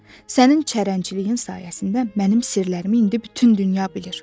Sənin çərənciliyinin sayəsində mənim sirlərimi indi bütün dünya bilir.